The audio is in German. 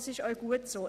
Das ist auch gut so.